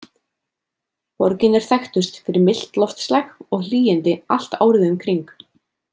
Borgin er þekktust fyrir milt loftslag og hlýindi allt árið um kring.